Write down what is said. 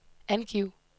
angiv